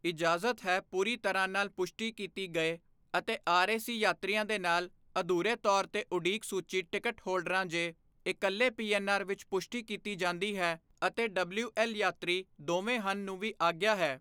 ਇਜਾਜ਼ਤ ਹੈ ਪੂਰੀ ਤਰਾਂ ਨਾਲ ਪੁਸ਼ਟੀ ਕੀਤੀ ਗਏ ਅਤੇ ਆਰਏਸੀ ਯਾਤਰੀਆਂ ਦੇ ਨਾਲ, ਅਧੂਰੇ ਤੌਰ ਤੇ ਉਡੀਕ ਸੂਚੀ ਟਿਕਟ ਹੋਲਡਰਾਂ ਜੇ ਇੱਕਲੇ ਪੀਐੱਨਆਰ ਵਿੱਚ ਪੁਸ਼ਟੀ ਕੀਤੀ ਜਾਂਦੀ ਹੈ ਅਤੇ ਡਬਲਿਊਐੱਲ ਯਾਤਰੀ ਦੋਵੇਂ ਹਨ ਨੂੰ ਵੀ ਆਗਿਆ ਹੈ।